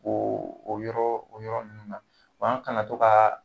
O o yɔrɔ o yɔrɔ ninnu na ban kana to ka